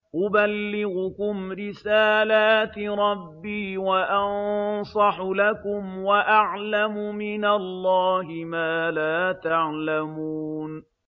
أُبَلِّغُكُمْ رِسَالَاتِ رَبِّي وَأَنصَحُ لَكُمْ وَأَعْلَمُ مِنَ اللَّهِ مَا لَا تَعْلَمُونَ